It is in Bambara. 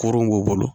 Kurun b'u bolo